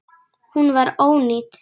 Hún var ónýt.